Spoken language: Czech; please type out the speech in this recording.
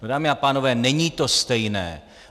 No, dámy a pánové, není to stejné.